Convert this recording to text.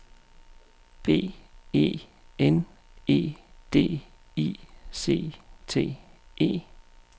B E N E D I C T E